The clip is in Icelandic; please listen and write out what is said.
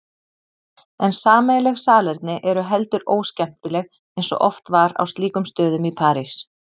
En sameiginleg salerni eru heldur óskemmtileg eins og oft var á slíkum stöðum í París.